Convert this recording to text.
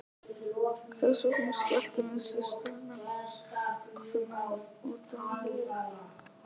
Þess vegna skelltum við systurnar okkur nú út á lífið.